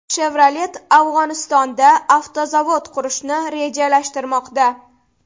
Chevrolet Afg‘onistonda avtozavod qurishni rejalashtirmoqda.